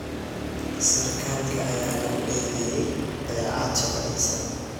Sarkaalka ayaa lagu eedeeyay dayacaad shaqadiisa.